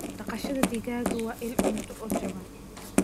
Dhaqashada digaaga waa il cunto oo jaban.